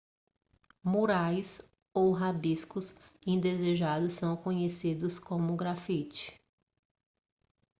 murais ou rabiscos indesejados são conhecidos como grafite